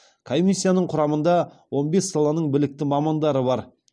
комиссияның құрамында он бес саланың білікті мамандары бар